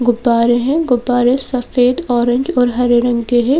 गुब्बारे हैं गुब्बारे सफेद ऑरेंज और हरे रंग के हैं।